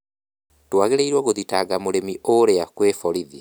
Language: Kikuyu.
Tũagĩrĩirũo gũthitanga mũrĩmi ũrĩa kwĩ borothi